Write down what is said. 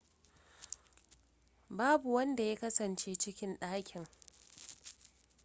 babu wanda ya kasance cikin ɗakin